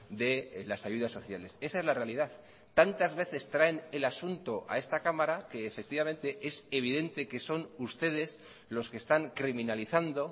de las ayudas sociales esa es la realidad tantas veces traen el asunto a esta cámara que efectivamente es evidente que son ustedes los que están criminalizando